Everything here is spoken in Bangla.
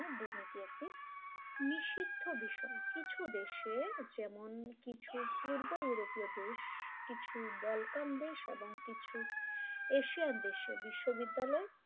নিষিদ্ধ বিষয় কিছু দেশে যেমন কিছু পূর্ব ইউরোপীয় দেশ কিছু বলকান দেশ এবং কিছু এশিয়ান দেশের বিশ্ববিদ্যালয়